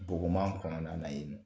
Bɔgɔman kɔnɔna na yennɔ